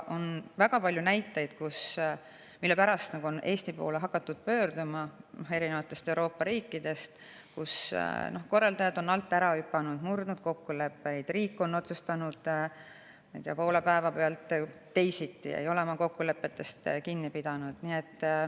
On väga palju näiteid, et Eesti poole on hakatud pöörduma erinevatest Euroopa riikidest, kus korraldajad on alt ära hüpanud, murdnud kokkuleppeid, riik on otsustanud poole päeva pealt teisiti ega ole kokkulepetest kinni pidanud.